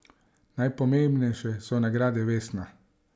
Najpomembnejše so nagrade Vesna.